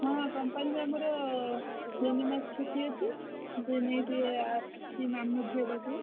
ହଁ company ବା ଆମର ତିନି ମାସ ଛୁଟି ଅଛି